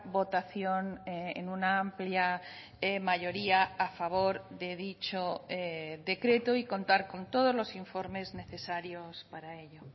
votación en una amplia mayoría a favor de dicho decreto y contar con todos los informes necesarios para ello